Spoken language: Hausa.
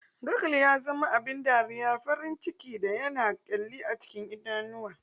Gurgle ya zama abin dariya, farin ciki yana kyalli a cikin idanuwa